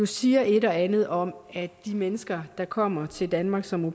siger et og andet om at de mennesker der kommer til danmark som au